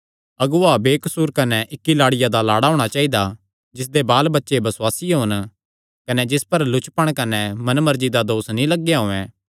अगुआ बेकसूर कने इक्की लाड़िया दा लाड़ा होणा चाइदा जिसदे बालबच्चे बसुआसी होन कने जिस पर लुचपण कने मनमर्जी दा दोस नीं लगेया होयैं